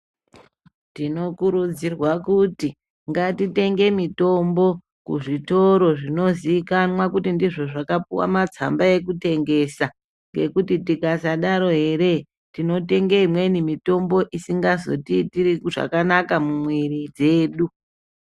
Tinokurudzirwa kuti ngatitenge mitombo kuzvitoro zvinoziikanwa kuti ndizvo zvakapuwe matsamba ekutengesa ngekuti tikasadaro eree tinotenge imweni mitombo isingazotiitiri zvakanaka mumwiri dzedu.